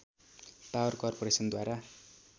power corporation द्वारा